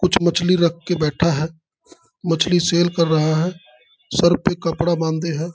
कुछ मछली रख के बैठा है मछली सेल कर रहा हैसर पे कपड़ा बाधे है ।